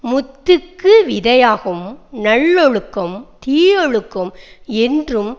முத்திக்கு விதையாகும் நல்லொழுக்கம் தீயவொழுக்கம் என்றும்